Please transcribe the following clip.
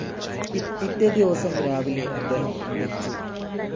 പിറ്റേദിവസം രാവിലെ അദ്ദേഹം അന്തരിച്ചു.